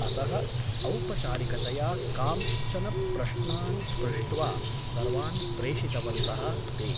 अतः औपचारिकतया कांश्चन प्रश्नान् पृष्ट्वा सर्वान् प्रेषितवन्तः ते ।